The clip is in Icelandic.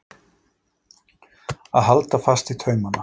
Að halda fast í taumana